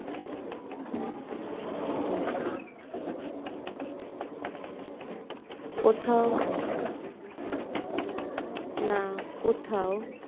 কোথাও না কোথাও